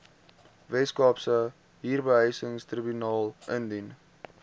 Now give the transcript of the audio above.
weskaapse huurbehuisingstribunaal indien